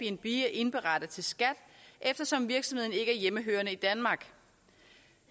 indberette til skat eftersom virksomheden er hjemmehørende i danmark